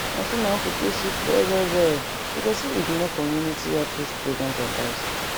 na so my uncle take sick well well well because e ignore community outreach programs advice